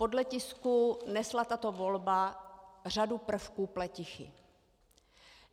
Podle tisku nesla tato volba řadu prvků pletichy.